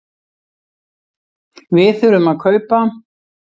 Við þurfum að kaupa.